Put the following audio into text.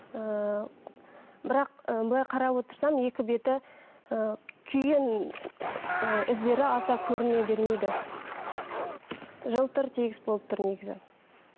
ыыы бірақ былай қарап отырсам екі беті ы күйген ы іздері аса көріне бермейді жылтыр тегіс болып тұр негізі